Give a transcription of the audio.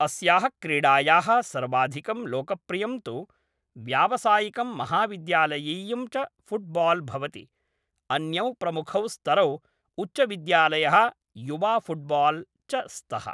अस्याः क्रीडायाः सर्वाधिकं लोकप्रियं तु व्यावसायिकं महाविद्यालयीयं च फुट्बाल् भवति, अन्यौ प्रमुखौ स्तरौ उच्चविद्यालयः युवाफुट्बाल् च स्तः।